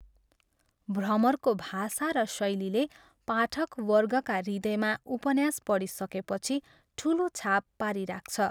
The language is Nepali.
भ्रमरको भाषा र शैलीले पाठकवर्गका हृदयमा उपन्यास पढिसकेपछि ठुलो छाप पारिराख्छ।